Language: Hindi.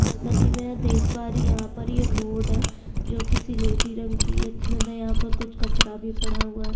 जैसा कि मैं यहाँ देख पा रही हूँ यहाँ पर ये रोड है जो कि स्लेटी रंग की है इतने में यहाँ पे कुछ कचरा भी पड़ा हुआ है।